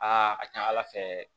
Aa a ka ca ala fɛ